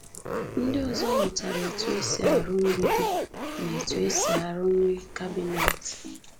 Ndị ọzọ mụtara etu e si arụ mgbidi na etu e si arụnye kabịnet.